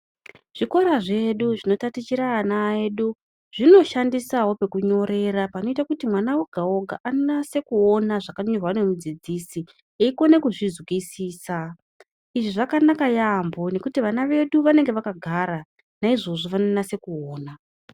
Zvikora zvedu zvinotatichira vana vedu zvinoshandisa pekunyorerwa pakaita mwana oga oga anyase kuona zvakanyorwa nemudzidzisi eikona kuzvizwisisa izvi zvakanaka yambo ngekuti vana vedu vanenge vakagara naizvezvi vinyasa kuona.